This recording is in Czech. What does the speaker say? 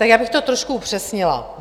Tak já bych to trošku upřesnila.